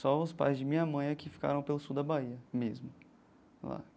Só os pais de minha mãe é que ficaram pelo sul da Bahia mesmo.